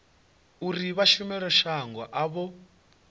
uri vha shumele shango avho